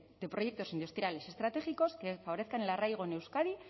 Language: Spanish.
de proyectos industriales estratégicos que favorezcan el arraigo en euskadi